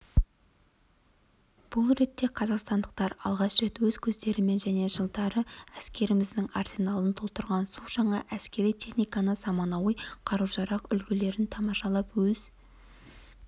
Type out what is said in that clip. бұл ретте қазақстандықтар алғаш рет өз көздерімен және жылдары әскеріміздің арсеналын толықтырған су жаңа әскери техниканы заманауи қару-жарақ үлгілерін тамашалап өз